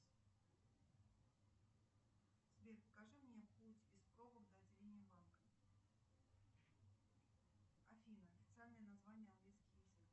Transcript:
сбер покажи мне путь без пробок до отделения банка афина официальное название английский язык